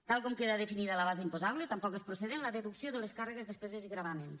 tal com queda definida la base imposable tampoc és procedent la deducció de les càrregues despeses i gravàmens